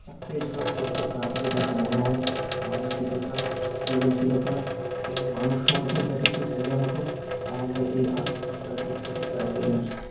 চাকরির জন্য প্রস্তুত না করে তাকে মনন, মানসিকতা, সৃজনশীলতা, মানুষ হওয়ার জন্য তাকে শিক্ষা দেয়া হতো, তাহলে এই আত্তহত্যার দিক থেকে তারা ফিরে আসতো